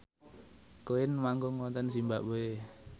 Queen manggung wonten zimbabwe